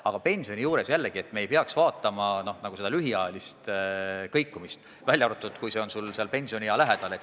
Aga pensionide puhul me ei peaks vaatama lühiajalist kõikumist, välja arvatud juhul, kui langus juhtub ajal, kui pensioniiga on kohe käes.